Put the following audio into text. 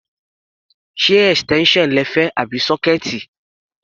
Ṣé extension lẹ fẹ́ àbí sọkẹẹti?